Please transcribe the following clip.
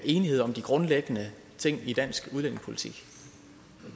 enighed om de grundlæggende ting i dansk udlændingepolitik